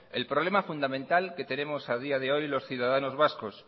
el problema fundamental que tenemos a día de hoy los ciudadanos vascos